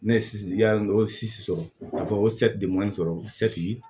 Ne ye yali o sisi sɔrɔ k'a fɔ ko sɔrɔ